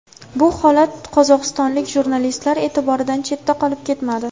Bu holat qozog‘istonlik jurnalistlar e’tiboridan chetda qolib ketmadi.